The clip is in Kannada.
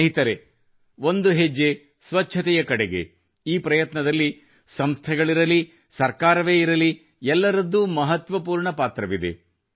ಸ್ನೇಹಿತರೇ ಒಂದು ಹೆಜ್ಜೆ ಸ್ವಚ್ಛತೆಯ ಕಡೆಗೆ ಈ ಪ್ರಯತ್ನದಲ್ಲಿ ಸಂಸ್ಥೆಗಳಿರಲಿ ಅಥವಾ ಸರ್ಕಾರವೇ ಇರಲಿ ಎಲ್ಲರದ್ದೂ ಮಹತ್ವಪೂರ್ಣ ಪಾತ್ರವಿದೆ